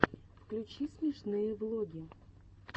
включи смешные влоги